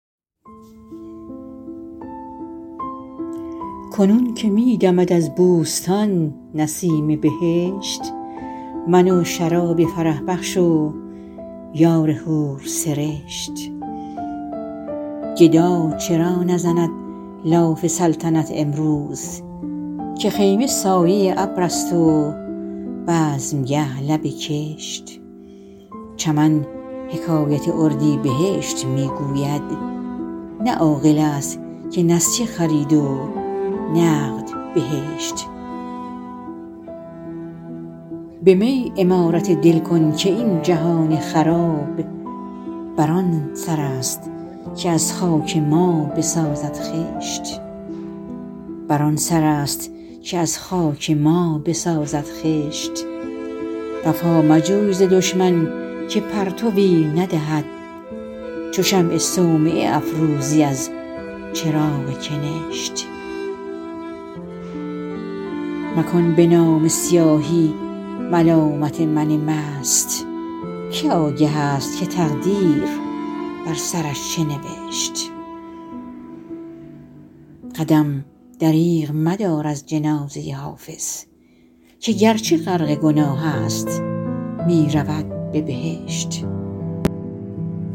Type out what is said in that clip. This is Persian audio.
کنون که می دمد از بوستان نسیم بهشت من و شراب فرح بخش و یار حورسرشت گدا چرا نزند لاف سلطنت امروز که خیمه سایه ابر است و بزمگه لب کشت چمن حکایت اردیبهشت می گوید نه عاقل است که نسیه خرید و نقد بهشت به می عمارت دل کن که این جهان خراب بر آن سر است که از خاک ما بسازد خشت وفا مجوی ز دشمن که پرتوی ندهد چو شمع صومعه افروزی از چراغ کنشت مکن به نامه سیاهی ملامت من مست که آگه است که تقدیر بر سرش چه نوشت قدم دریغ مدار از جنازه حافظ که گرچه غرق گناه است می رود به بهشت